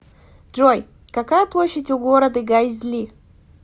джой какая площадь у города гайзли